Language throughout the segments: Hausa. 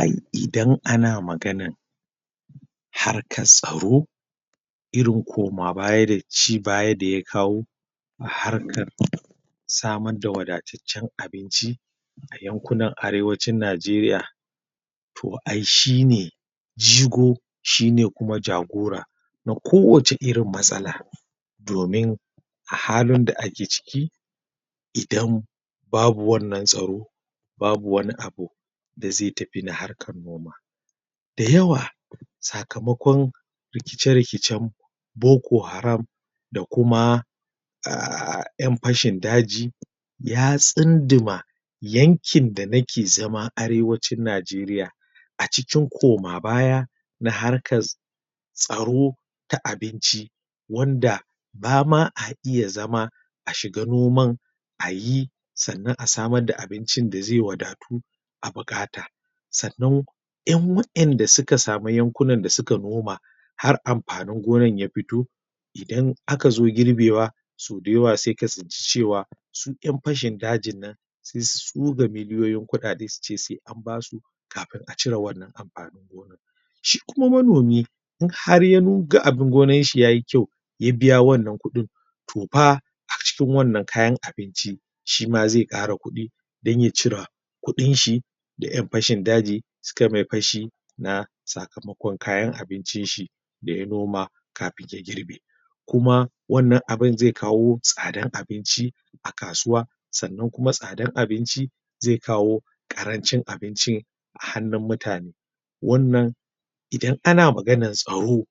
Ai idan ana maganan harkar tsaro irin koma baya da ci baya da ya kawo a harkar samar da wadataccen abinci a yankunan Arewacin Najeriya to ai shi ne jigo kuma shi ne kuma jagora na kowace irin matsala domin a halin da ake ciki idan babu wannan tsaro babu wani abu da zai tafi na harkar noma. da yawa sakamakon rikice rikicen Boko Haram da kuma aa ƴan fashin daji ya tsunduma yankin da nike zama Arewacin Najeriya a cikin koma baya na harkas tsaro ta abinci wanda ba ma a iya zama a shiga noman a yi sannan a samar da abincin da zai wadatu a buƙata sannan Yan ƴan waɗanda suka samu yankunan da suka noma hara amfanin gona ya fito idan aka zo girbewa sau da yawa sai ka tsinci cewa su wa'innan ƴan fashin dajin sai su tsuga milyoyin kuɗaɗe su ce sai an ba su kafin a cire wannan shi kuma manomi in har ya ga abin gonarshi yayi kyau ya biya wannan kuɗin to fa acikin wanna kayan abinci shi ma zai ƙara kuɗi don ya cire kuɗin shi da an fashin daji sukai mai fashi na sakamakon kayan abincin shi da ya noma kafin ya girbe kuma wannan abun zai kawo tsadan abinci a kasuwa sannan kuma tsadar abinci zai kawo ƙarancin abincin a hannun mutane wannan idan ana maganar tsaro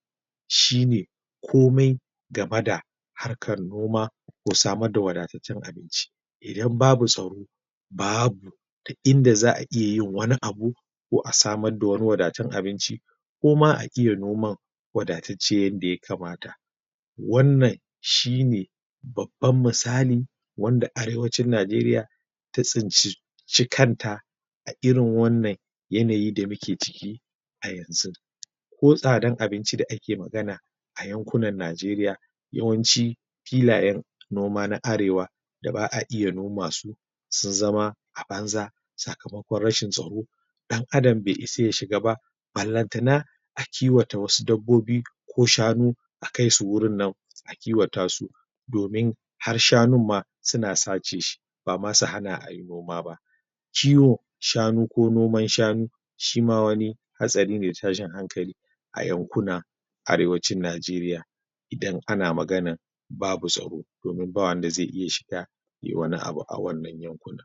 shi ne komai gaba da harkar noma ko samar da wadataccen abinci idan babu tsaro ba bu in da za a iyayin wani abu ko a samr dawani wadataccen abinci ko ma a iya noman wadatacce wanda ya kamat wannan shi ne babban misali wanda Arewacin Najeriya ta tsinci kanata a irin wannan yanayi da muke ciki a yanzu ko tsadan abinci da ake magana a yankunan Najeriya yawancin filayen noma na Arewa da ba a iya noma su sun zama a banza sakamakon rashin tsaro ɗan'adam bai isa ya shiga ba ballanata a kiwata wasu dabbobi ko shanu kiwata su domin har shanun ma suna sace shi ba ma su hana a yi noma ba kiwon shanu ko nom, an shanu shi ma wani hatsari ne ko tashin hankali a yankunan Arewacin Najeriya idan ana maganan babu tsaro daomin ba wanda zai iya shiga yai wani abu a wannan yankuna.